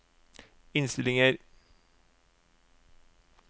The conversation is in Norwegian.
innstillinger